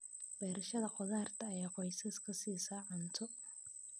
Beerashada khudaarta ayaa qoysaska siisa cunto.